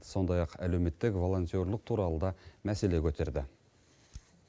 сондай ақ әлеуметтік волонтерлік туралы да мәселе көтерді